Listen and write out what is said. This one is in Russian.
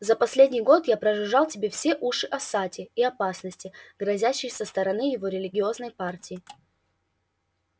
за последний год я прожужжал тебе все уши о сатте и опасности грозящей со стороны его религиозной партии